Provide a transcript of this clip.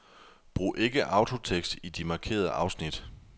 Brug ikke autotekst i de markerede afsnit.